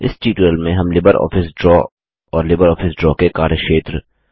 इस ट्यूटोरियल में हम लिबरऑफिस ड्रा और लिबरऑफिस ड्रा के कार्यक्षेत्र